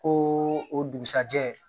Ko o dugusajɛ